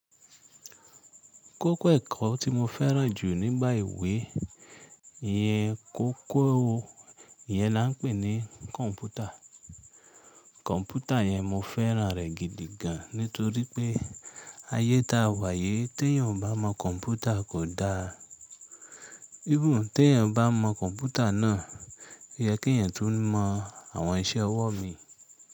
Kókó ẹ̀kọ́ tí mo fẹ́ràn jù nígbà ìwé iyẹn kókó yẹn là ń pè ní kọ̀ǹpútà. Kọ̀ǹpútà yẹn mo fẹ́ràn rẹ̀ gidi gan nítorí pé ayé ta wà yí tí ènìyàn ò bá mọ kọ̀ǹpútà kò da. Even tí èeyàn bá mọ kọ̀ǹpútà náà, yẹ kí èeyàn tún mọ àwọn iṣẹ́ ọwọ́ mi.